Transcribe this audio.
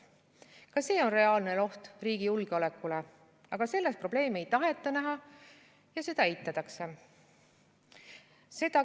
Ka see on reaalne oht riigi julgeolekule, aga selles probleemi ei taheta näha ja seda eitatakse.